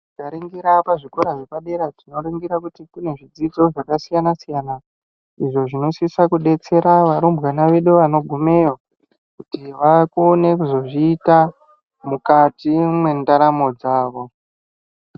Tikaringira pazvikora zvepadera tinoringira kuti kune zvidzidzo zvesiyana-siyana. Izvo zvinosisa kubetsera varumbwana vedu vanogumeyo kuti vakone kuzozvita mukati mwendaramo dzavo.